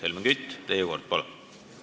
Helmen Kütt, teie kord, palun!